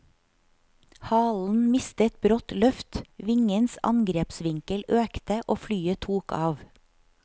Halen mistet brått løft, vingens angrepsvinkel økte og flyet tok av.